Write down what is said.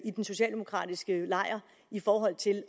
i den socialdemokratiske lejr i forhold til